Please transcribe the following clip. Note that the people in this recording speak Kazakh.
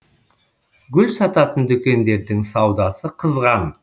гүл сататын дүкендердің саудасы қызған